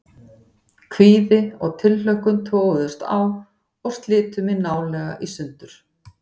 Kvíði og tilhlökkun toguðust á og slitu mig nálega í sundur.